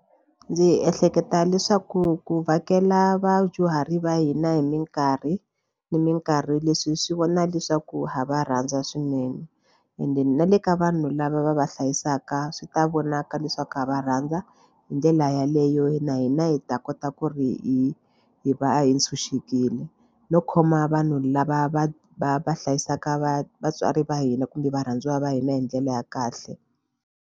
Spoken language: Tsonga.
Ndzi ehleketa leswaku ku vhakela vadyuhari va hina hi mikarhi ni mikarhi leswi swi vona leswaku ha va rhandza swinene ende na le ka vanhu lava va va hlayisaka swi ta vonaka leswaku ha va rhandza hi ndlela yaleyo na hina hi ta kota ku ri hi va hi tshunxekile no khoma vanhu lava va va va hlayisaka va vatswari va hina kumbe varhandziwa va hina hi ndlela ya kahle.